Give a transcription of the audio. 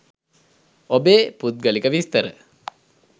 ඔබේ පුද්ගලික විස්තර